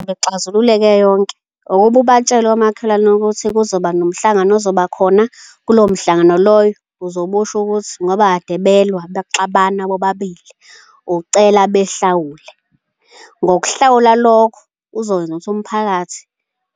Ukuba ixazululeke yonke ukuba ubatshele omakhelwane ukuthi kuzoba nomhlangano ozoba khona, kulowo mhlangano loyo uzobe usho ukuthi ngoba kade belwa bexabana bobabili, ucela behlawule. Ngokuhlawula lokho kuzokwenza ukuthi umphakathi